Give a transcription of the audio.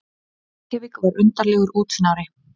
Reykjavík var undarlegur útnári.